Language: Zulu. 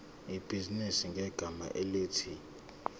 ibhizinisi ngegama elithi